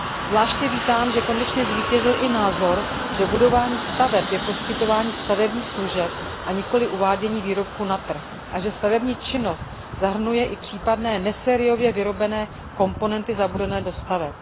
Zvláště vítám, že konečně zvítězil i názor, že budování staveb je poskytování stavebních služeb, a nikoli uvádění výrobků na trh, a že stavební činnost zahrnuje i případné nesériově vyrobené komponenty zabudované do staveb.